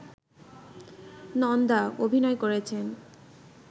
নন্দা অভিনয় করেছেন